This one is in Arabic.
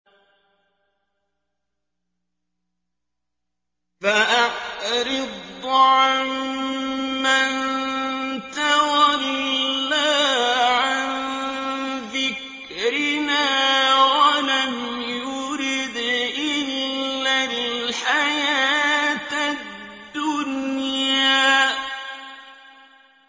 فَأَعْرِضْ عَن مَّن تَوَلَّىٰ عَن ذِكْرِنَا وَلَمْ يُرِدْ إِلَّا الْحَيَاةَ الدُّنْيَا